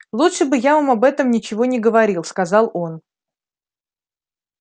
лучше бы я вам об этом ничего не говорил сказал он